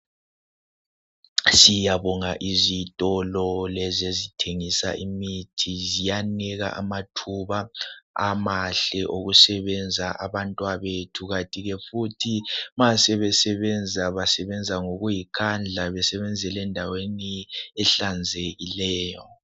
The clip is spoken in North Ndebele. Siyabonga izitolo lezi ezithengisa imithi ziyanika amathuba amahle okusebenza abantwabethu kanti ke futhi ma sebesebenza basebenza ngokuyikhandla besebenzel' endaweni ehlanzekileyo.